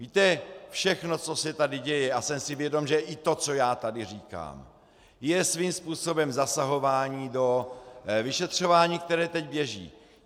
Víte, všechno, co se tady děje, a jsem si vědom, že i to, co já tady říkám, je svým způsobem zasahování do vyšetřování, které teď běží.